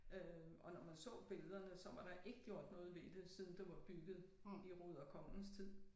Øh og når man så billederne så var der ikke gjort noget ved det siden det var bygget i Ruder Konges tid